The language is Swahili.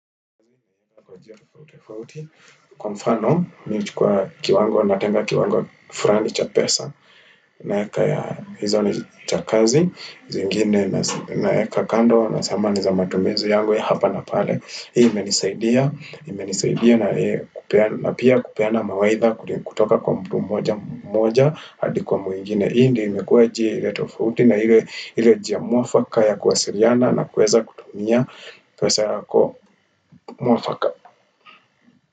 Kwa mfano, mimi huchukua kiwango, natenga kiwango fulani cha pesa, naweka ya, hizo ni cha kazi, zingine naweka kando, nasema ni za matumizi yangu ya hapa na pale. Hii imenisaidia, imenisaidia na pia kupeana mawaidha kutoka kwa mtu mmoja mmoja, hadi kwa mwingine. Hii ndio imekuwa njia ile tofauti na ile njia mwafaka ya kuwasiliana na kuweza kutumia pesa yako mwafaka.